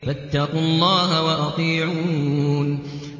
فَاتَّقُوا اللَّهَ وَأَطِيعُونِ